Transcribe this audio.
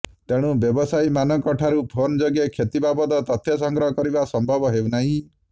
ତେଣୁ ବ୍ୟବସାୟୀମାନଙ୍କଠାରୁ ଫୋନ୍ ଯୋଗେ କ୍ଷତି ବାବଦ ତଥ୍ୟ ସଂଗ୍ରହ କରିବା ସମ୍ଭବ ହେଉନାହିଁ